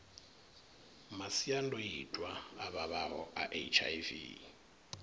masiandoitwa a vhavhaho a hiv